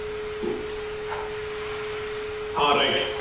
ହଁ, right